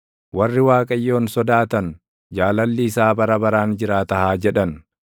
Warri Waaqayyoon sodaatan, “Jaalalli isaa bara baraan jiraata” haa jedhan.